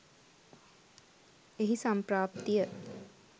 එහි සම්ප්‍රාප්තිය